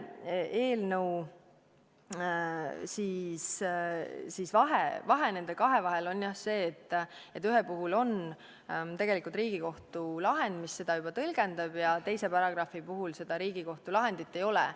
Nende kahe eelnõu vahe on jah see, et ühe puhul on Riigikohtu lahend, mis seda juba tõlgendab, ja teise paragrahvi puhul seda Riigikohtu lahendit ei ole.